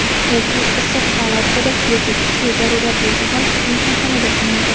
Erkak issiq palatkada yoki kuchli zarurat bo‘lsa, mehmonxonada tunaydi.